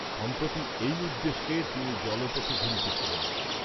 সম্প্রতি এই উদ্দেশ্যে তিনি জল পথে ঘুরিতেছিলেন।